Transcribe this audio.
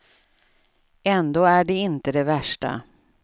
Ändå är det inte det värsta.